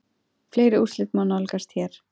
Fleiri úrslit má nálgast hér